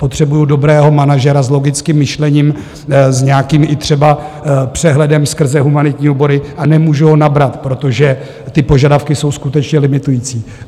Potřebuji dobrého manažera s logickým myšlením, s nějakým i třeba přehledem skrze humanitní obory, a nemůžu ho nabrat, protože ty požadavky jsou skutečně limitující.